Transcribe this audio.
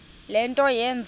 le nto yenze